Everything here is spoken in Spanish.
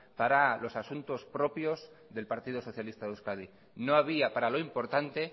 para los asuntos propios del partido socialista de euskadi no había para lo importante